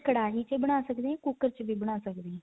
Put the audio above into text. ਕੜਾਹੀ ਚ ਹੀ ਬਣਾ ਸਕਦੇ ਹਾਂ ਜਾਂ ਕੁੱਕਰ ਵਿੱਚ ਬਣਾ ਸਕਦੇ ਹਾਂ